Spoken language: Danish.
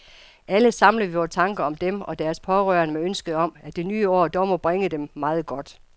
Alle samler vi vore tanker om dem og deres pårørende med ønsket om, at det nye år dog må bringe dem meget godt.